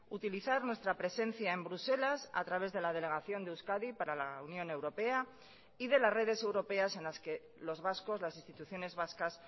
utilizar nuestra presencia en bruselas a través de la delegación de euskadi para la unión europea y de las redes europeas en las que los vascos las instituciones vascas